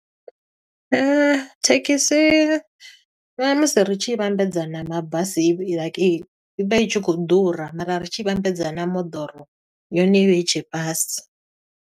Thekhisi, na musi ri tshi i vhambedza na mabasi i vha like i, i vha i khou ḓura. Mara ri tshi i vhambedza na moḓoro yone i vha i tshe fhasi.